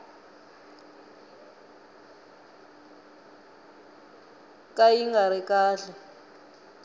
ka yi nga ri kahle